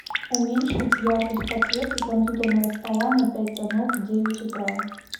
уменьшить яркость подсветки компьютерного стола на пять тонов в девять утра